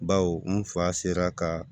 Baw n fa sera kaa